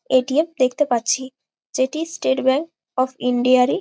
ATM. দেখতে পাচ্ছি যেটি স্টেট ব্যাঙ্ক অফ ইন্ডিয়ারই --